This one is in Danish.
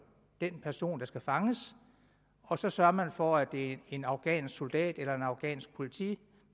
den person der skal fanges og så sørger man for at det er en afghansk soldat eller en afghansk politimand